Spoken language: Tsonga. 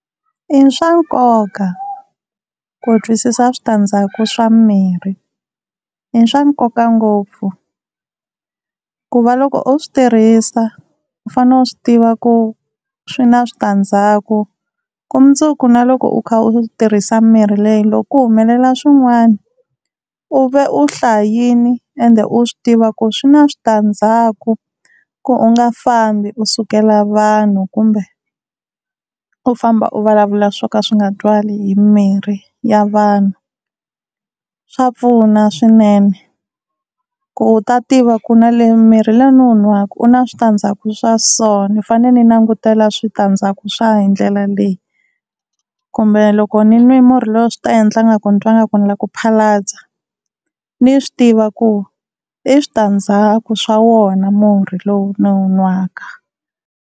I swa nkoka ku twisisa switandzhaku swa mimirhi. I swa nkoka ngopfu ku va loko u swi tirhisa u fanele u swi tiva ku swi na switandzhaku ku mundzuku na loko u kha u tirhisa mirhi leyi, loko ku humelela swin'wana u va u hlayini ende u swi tiva ku swi na switandzhaku, ku u nga fambi u sukela vanhu kumbe u famba u vulavula swo ka swi nga twali hi mimirhi ya vanhu. Swa pfuna swinene ku u ta tiva ku na le murhi lowu ni wu nwaka u na switandzhaku swa so ni fanele ni langutela switandzhaku swa hi ndlela leyi. Kumbe loko ni nwi murhi lowu swi ta endla nga ku ni twa nga ku ni lava ku phalaza ni swi tiva ku i switandzhaku swa wona murhi lowu ni wu nwaka.